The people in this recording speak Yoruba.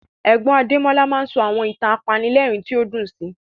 Ẹ̀gbọ́n Adémọ́lá máa ń sọ àwọn ìtàn apanilẹ́rìn tí ó dùn sí